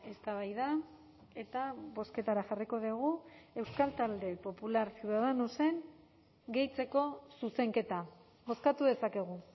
eztabaida eta bozketara jarriko dugu euskal talde popular ciudadanosen gehitzeko zuzenketa bozkatu dezakegu